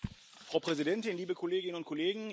Frau Präsidentin, liebe Kolleginnen und Kollegen!